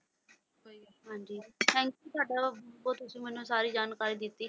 ਹਾਂਜੀ thank you ਤੁਹਾਡਾ ਬਹੁਤ ਤੁਸੀਂ ਮੈਨੂੰ ਸਾਰੀ ਜਾਣਕਾਰੀ ਦਿੱਤੀ।